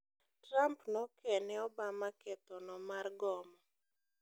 Trump noke ne Obama ketho no mar gomo.